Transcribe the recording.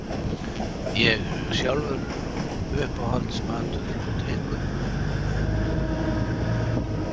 Ég sjálfur Uppáhalds matur og drykkur?